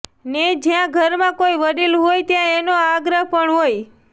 ને જ્યાં ઘરમાં કોઈ વડીલ હોય ત્યાં એનો આગ્રહ પણ હોય